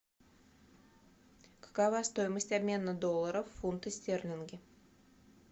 какова стоимость обмена долларов в фунты стерлинги